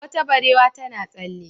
Wata barewa tana tsalle.